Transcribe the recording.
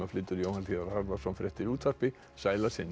flytur Jóhann hlíðar Harðarson fréttir í útvarpi sæl að sinni